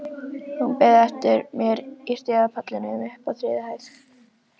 Hún beið eftir mér á stigapallinum uppi á þriðju hæð.